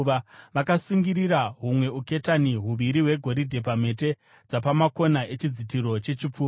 Vakasungirira humwe uketani huviri hwegoridhe pamhete dzapamakona echidzitiro chechipfuva,